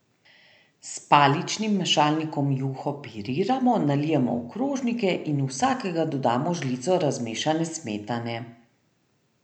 S paličnim mešalnikom juho piriramo, nalijemo v krožnike in v vsakega dodamo žlico razmešane smetane.